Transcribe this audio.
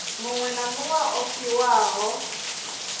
muṅwe na muṅwe o fhiwaho